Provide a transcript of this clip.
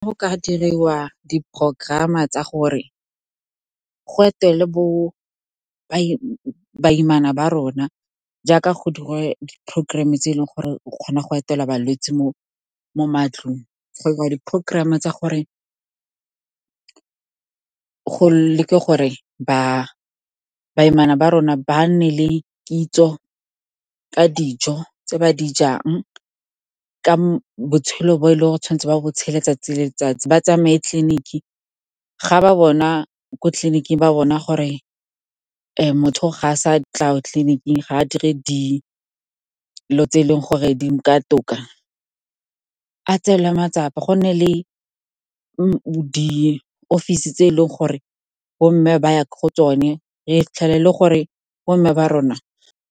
Go ka diriwa di-program-a tsa gore go etela baimana ba rona, jaaka go dirwa di-programm-e tse e leng gore o kgona go etela balwetse mo matlong. Go a 'irwa di-programm tsa gore go lekwe gore baimana ba rona ba nne le kitso ka dijo tse ba di jang, ka botshelo bo e leng gore tshwanetse ba bo tshela letsatsi le letsatsi. Ba tsamaye tleliniki, ko tleliniking ba bona gore motho ga a sa tla ko tleliniking, ga a dire dilo tse e leng gore di nka toka. A tseelwe matsapa, go nne le diofisi tse e leng gore bo mme ba ya go tsone, re fitlhelele gore bomme ba rona.